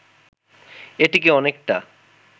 এটিকে অনেকটা